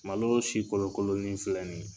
Malo si kolo kolonin filɛ nin ye.